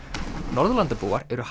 Norðurlandabúar eru